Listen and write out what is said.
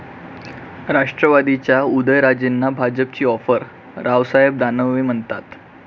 राष्ट्रवादीच्या उदयनराजेंना भाजपची ऑफर? रावसाहेब दानवे म्हणतात...